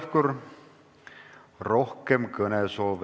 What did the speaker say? Juhtivkomisjoni ettepanek on eelnõu 783 esimene lugemine lõpetada.